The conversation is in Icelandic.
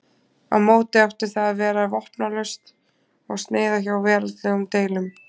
Á móti átti það að vera vopnlaust og sneyða hjá veraldlegum deilum.